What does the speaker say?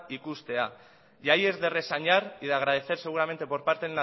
ikustea y ahí es de reseñar y de agradecer seguramente por parte